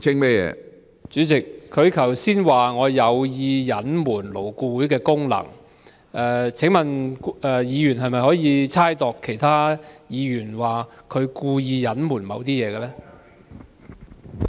主席，他剛才說我有意隱瞞勞顧會的功能，請問議員可否猜度其他議員的動機，指他們故意隱瞞某些事情？